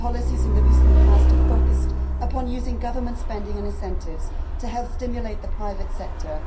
Its policies in the recent past have focused upon using government spending and incentives to help stimulate the private sector.